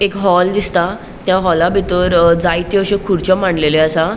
एक हॉल दिसता त्या हॉला बितर जायत्यो अश्यो खुरच्यो मांडलेल्यो असा.